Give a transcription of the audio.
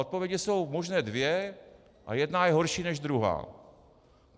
Odpovědi jsou možné dvě a jedna je horší než druhá.